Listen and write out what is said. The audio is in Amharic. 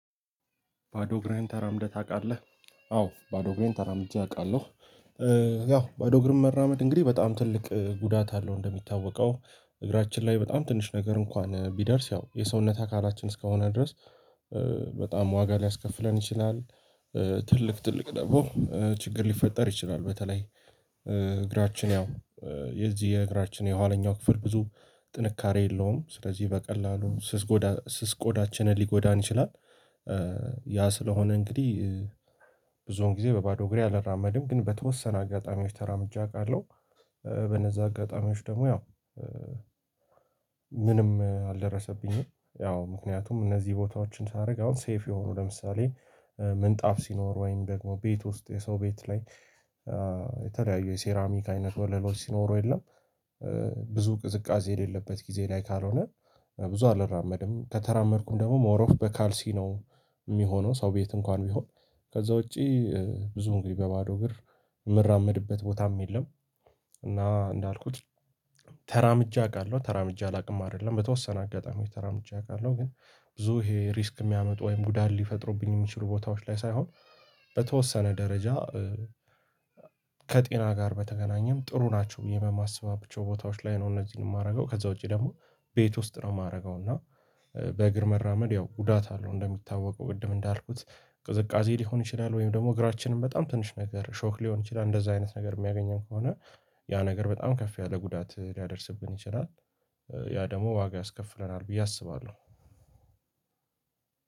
ባዶ እግርህን ተራምደህ ታውቃለህ? አዎ ባዶ እግሬን ተራምጀ አውቃለሁ ያው ባዶ እግርን መራመድ እንግዲህ በጣም ትልቅ ጉዳት አለው እንደሚታወቀው እግራችን ላይ በጣም ትንሽ ነገር እንኳን ቢደርስ ያው የሰውነት አካላችን እስከሆነ ድረስ በጣም ዋጋ ሊያስከፍለን ይችላል ትልቅ ትልቅ ደግሞ ችግር ሊፈጠር ይችላል በተለይ እግራችን ያው የዚህ የእግራችን የኋለኛው ክፍል ብዙ ጥንካሬ የለውም ስለዚህ በቀላሉ ስስ ቆዳ ስስ ቆዳችንን ሊጎዳን ይችላል ያ ስለሆነ እንግዲህ ብዙውን ጊዜ በባዶ እግሬ አልራመድም ግን በተወሰነ አጋጣሚዎች ተራምጄ አውቃለሁ በነዛ አጋጣሚዎች ደግሞ ያው ምንም አልደረሰብኝም ያው ምክንያቱም እነዚህ ቦታዎችን ሳደርግ አሁን ሴፍ የሆኑ ለምሳሌ ምንጣፍ ሲኖር ወይም ደግሞ ቤት ውስጥ የሰው ቤት ላይ የተለያየ የሴራሚክ አይነት ወለሎች ሲኖሩ የለም ብዙ ቅዝቃዜ የሌለበት ጊዜ ላይ ካልሆነ ብዙ አልራመድም ከተራመድኩም ደግሞ ሞር ኦፍ በካልሲ ነው የሚሆነው ሰው ቤት እንኳን ቢሆን ከዛ ውጪ ብዙ እንግዲህ በባዶ እግር የምራመድበት ቦታም የለም እና እንዳልኩት ተራምጀ አውቃለሁ ተራምጀ አላውቅም አይደለም በተወሰነ አጋጣሚ ተራምጀ አውቃለሁ ግን ብዙ ይሄ ሪስክ የሚያመጡ ወይም ጉዳድ ሊፈጥሩብኝ የሚችሉ ቦታዎች ላይ ሳይሆን በተወሰነ ደረጃ ከጤና ጋር በተገናኘም ጥሩ ናቸው ብዬ በማስባቸው ቦታዎች ላይ ነው እነዚህን የማደርገው ከዛ ውጪ ደግሞ ቤት ውስጥ ነው የማደርገው እና በእግር መራመድ ያው ጉዳት አለው እንደሚታወቀው ቅድም እንዳልኩት ቅዝቃዜ ሊሆን ይችላል ወይም ደግሞ እግራችንን በጣም ትንሽ ነገር ሾክ ሊሆን ይችላል እንደዛ አይነት ነገር የሚያገኘን ከሆነ ያ ነገር በጣም ከፍ ያለ ጉዳት ሊያደርስብን ይችላል ያ ደግሞ ዋጋ ያስከፍለናል ብዬ አስባለሁ